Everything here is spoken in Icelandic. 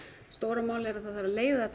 stóra málið er að það þurfi að leiða þetta